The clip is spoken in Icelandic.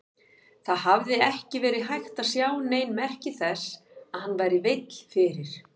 Það hafði ekki verið hægt að sjá nein merki þess að hann væri veill fyrir.